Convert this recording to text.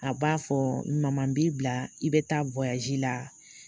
A b'a fɔ ma b'i bila i bɛ taa la